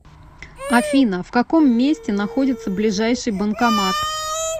афина в каком месте находится ближайший банкомат